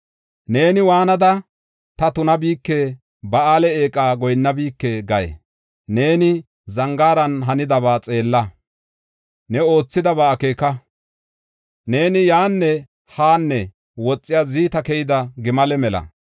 Neeni waanada, ‘Ta tunabike; Ba7aale eeqa goyinnabike’ gay? Neeni zangaaran hanidaba xeella; ne oothidaba akeeka. Neeni yaanne haanne woxiya ziita keyida gimale mela.